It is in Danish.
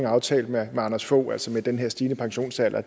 aftalte med anders fogh rasmussen altså med den her stigende pensionsalder